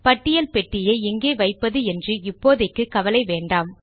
பட்டியல் பெட்டியை எங்கே வைப்பது என்று இப்போதைக்கு கவலை வேண்டாம்